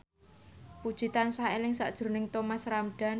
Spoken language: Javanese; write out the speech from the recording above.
Puji tansah eling sakjroning Thomas Ramdhan